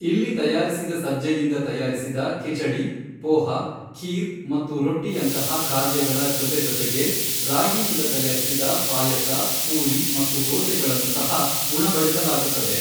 ಇಲ್ಲಿ ತಯಾರಿಸಿದ ಸಜ್ಜೆಯಿಂದ ತಯಾರಿಸಿದ ಖಿಚಡಿ, ಪೋಹಾ, ಖೀರ್ ಮತ್ತು ರೊಟ್ಟಿಯಂತಹ ಖಾದ್ಯಗಳ ಜೊತೆ ಜೊತೆಗೆ ರಾಗಿಯಿಂದ ತಯಾರಿಸಿದ ಪಾಯಸ, ಪೂರಿ ಮತ್ತು ದೋಸೆಗಳನ್ನು ಸಹ ಉಣಬಡಿಸಲಾಗುತ್ತದೆ.